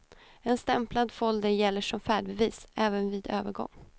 En stämplad folder gäller som färdbevis, även vid övergång.